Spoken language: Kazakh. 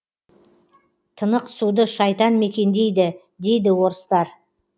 тыңық суды шайтан мекендейді дейді орыстар